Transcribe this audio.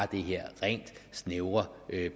det her rent snævert